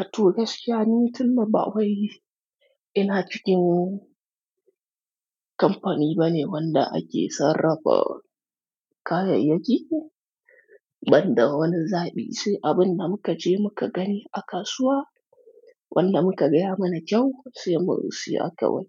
Ato gaskiya ni tunda ba wai ina cikin kamfani bane wanda ake sarrafa kayayyaki, banda wani zaɓi sai abin da muka je muka gani a kasuwa wanda muka gaya mana kyau sai musiya kawai.